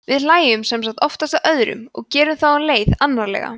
við hlæjum sem sagt oftast að öðrum og gerum þá um leið annarlega